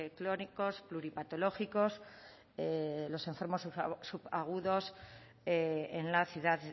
crónicos pluripatológicos los enfermos subagudos en la ciudad